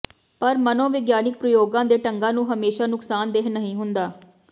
ਪਰ ਮਨੋਵਿਗਿਆਨਿਕ ਪ੍ਰਯੋਗਾਂ ਦੇ ਢੰਗਾਂ ਨੂੰ ਹਮੇਸ਼ਾ ਨੁਕਸਾਨਦੇਹ ਨਹੀਂ ਹੁੰਦਾ